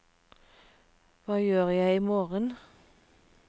hva gjør jeg imorgen